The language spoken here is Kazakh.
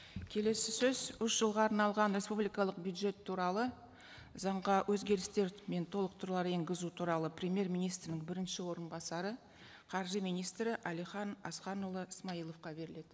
келесі сөз үш жылға арналған республикалық бюджет туралы заңға өзгерістер мен толықтырулар енгізу туралы премьер министрдің бірінші орынбасары қаржы министрі әлихан асханұлы смайыловқа беріледі